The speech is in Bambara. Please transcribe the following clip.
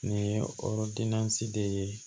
Nin ye orosi de ye